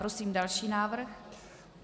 Prosím další návrh.